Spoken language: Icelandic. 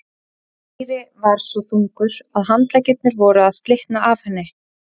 Týri var svo þungur að handleggirnir voru að slitna af henni.